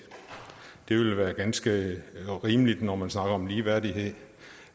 ville være ganske rimeligt når man snakker om ligeværdighed